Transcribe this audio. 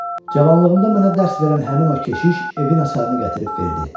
Cavanlığımda mənə dərs verən həmin o keşiş evin açarını gətirib verdi.